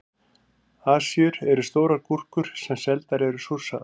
Asíur eru stórar gúrkur sem seldar eru súrsaðar.